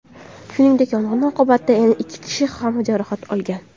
Shuningdek, yong‘in oqibatida yana ikki kishi ham jarohat olgan.